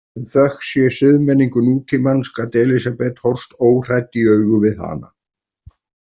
En þökk sé siðmenningu nútímans gat Elísabet horfst óhrædd í augu við hana.